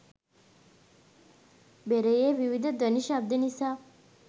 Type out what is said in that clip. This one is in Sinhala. බෙරයේ විවිධ ධ්වනි ශබ්ද නිසා